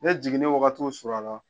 Ne jigin wagati surunyana